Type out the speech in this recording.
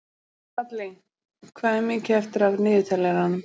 Dalli, hvað er mikið eftir af niðurteljaranum?